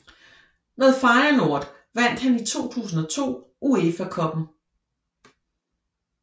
Med Feyenoord vandt han i 2002 UEFA Cuppen